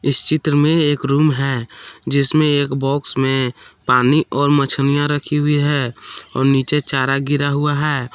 चित्र में एक रूम है जिसमें एक बॉक्स में पानी और मछलियां रखी हुई है और नीचे चारा गिरा हुआ है।